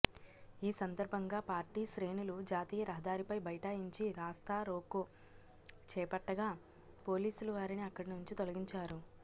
ఈ సందర్భంగా పార్టీ శ్రేణులు జాతీయ రహదారిపై బైఠాయించి రాస్తారోకో చేపట్టగా పోలీసులు వారిని అక్కడినుంచి తొలగించారు